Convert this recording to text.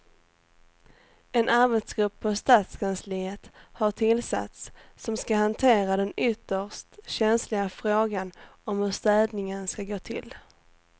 En arbetsgrupp på stadskansliet har tillsatts som ska hantera den ytterst känsliga frågan om hur städningen ska gå till.